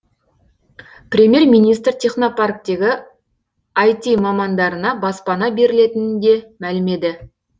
премьер министр технопарктегі іт мамандарына баспана берілетінін де мәлімдеді